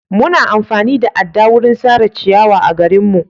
Muna amfani da adda wurin sare ciyawa a garinmu.